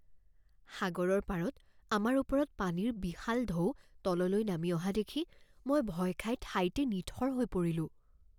সাগৰৰ পাৰত আমাৰ ওপৰত পানীৰ বিশাল ঢৌ তললৈ নামি অহা দেখি মই ভয় খাই ঠাইতে নিথৰ হৈ পৰিলোঁ৷